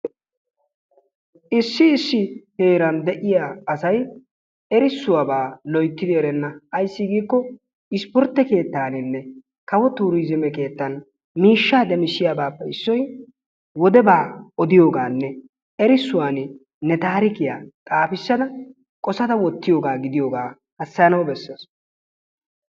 Issi issi heeran de'iyaa asay erissuwaabaa loyttidi erenna. Ayssi giikko isportte keettaninne kawo turizimme keettan miishshaa demisiyaabappe issoy wodebaa odiyoogaanne erissuwaan ne taarikkiyaa xaafissada qossada wottiyoogaa gidiyoogaa hasayanawu bessees.